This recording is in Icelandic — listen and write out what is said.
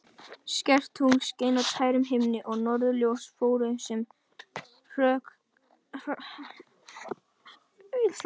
Skært tungl skein á tærum himni og norðurljós fóru sem hrökkálar frá austri til vesturs.